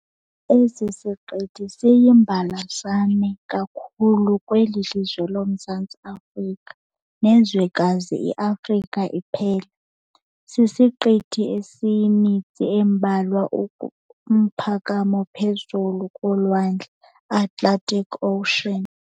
Esi sisiqithi esiyimbalasane kakhulu kweli lizwe loMzantsi Afrika nezwekazi iAfrika iphela. Sisiqithi esiyimitsi embalwa umphakamo phezulu kolwandle iAtlantic ocean.